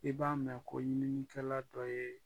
I b'a mɛn ko ɲininikɛla dɔ ye